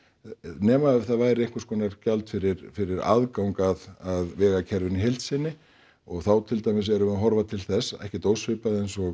nema f það væri einhvers konar gjald fyrir fyrir aðgang að vegakerfinu í heild sinni og þá til dæmis erum við að horfa til þess ekkert ósvipað eins og